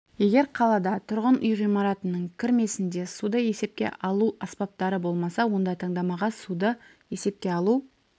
егер қалада тұрғын үй ғимараттарының кірмесінде суды есепке алу аспаптары болмаса онда таңдамаға суды есепке алу